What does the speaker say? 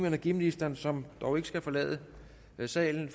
energiministeren som dog ikke skal forlade salen